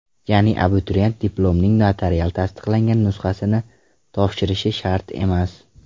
Ya’ni abituriyent diplomning notarial tasdiqlangan nusxasini topshirishi shart emas.